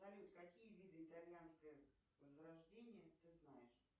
салют какие виды итальянской возрождения ты знаешь